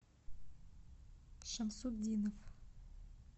шамсутдинов